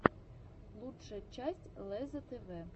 лучшая часть лезза тв